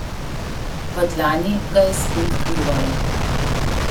V dlani ga je spet kljuvalo.